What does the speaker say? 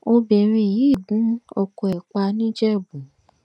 obìnrin yìí gún ọkọ ẹ̀ pa níjẹ̀bú